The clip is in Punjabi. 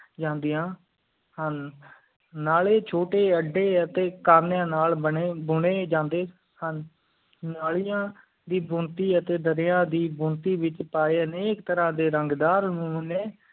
ਜਾਂਦੀਆਂ ਹਨ ਨਾਲੀ ਛੋਟੀ ਅੱਡੀ ਟੀ ਕਮੀਆਂ ਨਾਲ ਬੁਨੀ ਜੰਡੀ ਹਨ ਨਾਲੀਆਂ ਦੀ ਬੁਣਤੀ ਅਤਿ ਦਰਿਆ ਦੀ ਬੁਣਤੀ ਵਿਚ ਪਾਏ ਟੀ ਐਕ ਤਰਾਹ ਡੇਰੰਗਦਾਰ ਨਾਮੋਨੀ